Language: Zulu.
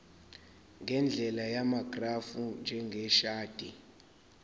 ngendlela yamagrafu njengeshadi